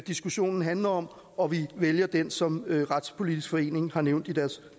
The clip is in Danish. diskussionen handler om og vi vælger den som retspolitisk forening har nævnt i deres